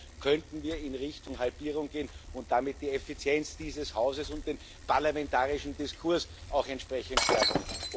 Auch hier könnten wir in Richtung Halbierung gehen und damit die Effizienz dieses Hauses und den parlamentarischen Diskurs auch entsprechend stärken.